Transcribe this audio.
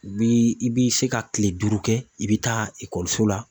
U bi i bi se ka kile duuru kɛ i bi taa ekɔliso la